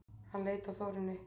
Hann leit á Þórunni.